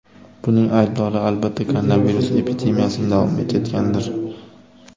Buning aybdori, albatta, koronavirus epidemiyasining davom etayotganidir.